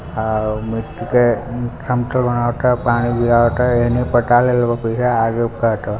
हमको वहाँ का